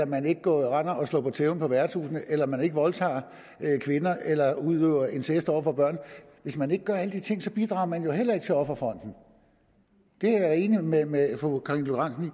man ikke render og slår på tæven på værtshusene eller man ikke voldtager kvinder eller ikke udøver incest over for børn hvis man ikke gør alle de ting bidrager man jo heller ikke til offerfonden det er jeg enig med med fru karina lorentzen